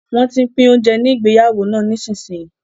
Wọ́n tín pín oúnjẹ ní ìgbéyàwó náà nísinsìnyí